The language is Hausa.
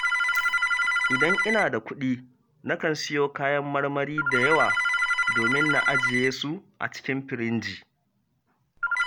Idan ina da kuɗi, nakan siyo kayan marmari da yawa, domin na ajiye su a cikin firinji